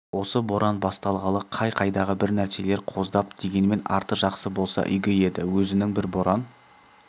осы боран басталғалы қай-қайдағы бір нәрселер қоздап дегенмен арты жақсы болса иге еді өзінің бір боран